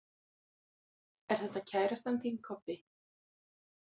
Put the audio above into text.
Er þetta kærastan þín, Kobbi?